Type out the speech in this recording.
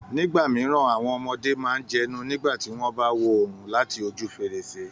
Nígbà mìíràn, àwọn ọmọdé máa ń jẹnu nígbà tí wọ́n bá wo oòrùn láti ojú fèrèsé